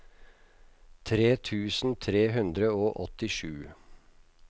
tre tusen tre hundre og åttisju